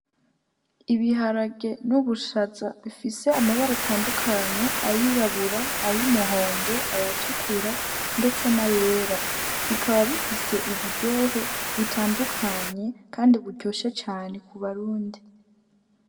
Ibiharage n'ubushaza bifise amabaro atandukanye ayirabura ayo umuhondo ayatukura, ndetse na yera bikaba bifise uburyohe butandukanye, kandi buryosha cane ku barundi.